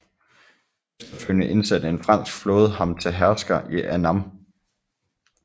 Efterfølgende indsatte en fransk flåde ham til hersker i Annam